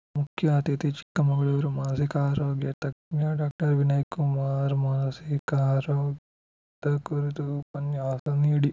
ಮುಖ್ಯ ಅತಿಥಿ ಚಿಕ್ಕಮಗಳೂರು ಮಾನಸಿಕ ಆರೋಗ್ಯ ತಜ್ಞ ಡಾಕ್ಟರ್ ವಿನಯ್‌ ಕುಮಾರ್‌ ಮಾನಸಿಕ ಆರೋಗ್ಯದ ಕುರಿತು ಉಪನ್ಯಾಸ ನೀಡಿ